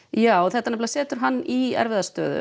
já þetta setur hann í erfiða stöðu